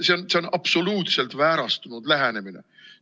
See on absoluutselt väärastunud lähenemine.